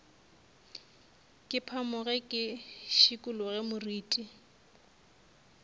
ke phamoge ke šikologe moriti